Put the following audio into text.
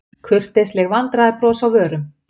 Kurteisleg vandræðabros á vörum.